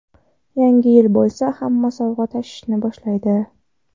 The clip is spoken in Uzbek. Yangi yil bo‘lsa, hamma sovg‘a tashishni boshlaydi.